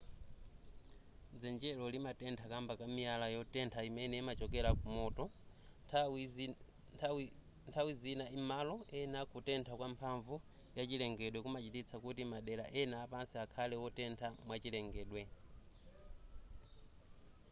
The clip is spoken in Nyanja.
dzenjelo limatentha kamba ka miyala yotentha imene imachokera kumoto nthawi zima m'malo ena kutentha kwa mphamvu ya chilengedwe kumachititsa kuti madera ena apansi akhale wotentha mwachilengedwe